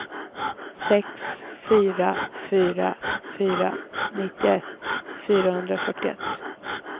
sex fyra fyra fyra nittioett fyrahundrafyrtioett